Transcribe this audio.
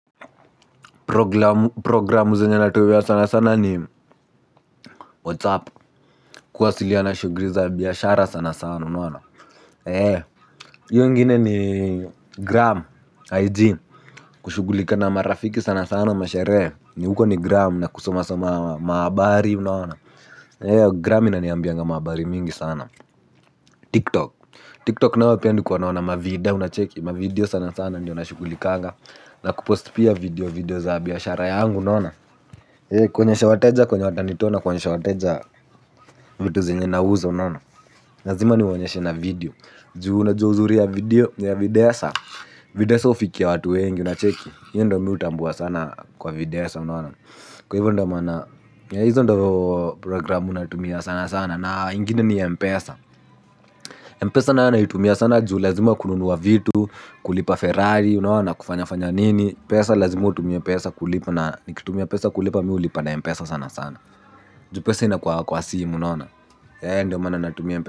Programu zenye natumia sana sana ni whatsapp kuwasiliana shughuli za biashara sana sana unaona hiyo ingine ni gram IG kushughulika na marafiki sana sana masherehe ni huko ni gram na kusomasoma mahabari unaona na hiyo gram inaniambianga mahabari mingi sana tiktok tiktok nayo pia nilikuwa naona mavida unacheki mavideo sana sana ndiyo nashughulikanga na kupost pia video video za biashara yangu unaona kuonyesha wateja kwenye watanitoa na kuonyesha wateja vitu zenye nauza unaona lazima niwaonyeshe na video juu unajua uzuri ya video ya videsa videsa hufikia watu wengi unacheki hiyo ndiyo mimi hutambua sana kwa videsa unaona kwa hivyo ndiyo maana hizo ndiyo programu natumia sana sana na ingine ni Mpesa Mpesa nayo naitumia sana juu lazima kununua vitu. Kulipa ferari unaona kufanyafanya nini pesa lazima utumie pesa kulipa na nikitumia pesa kulipa mimi hulipa na Mpesa sana sana juu pesa inakuanga kwa simu unaona ndiyo maana natumia mpesa.